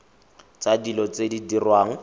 tsa dilo tse di diriwang